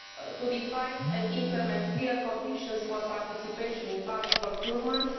to define and implement clear conditions for participation in public procurement